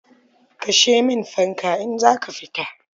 Kashe min fanka in za ka fita.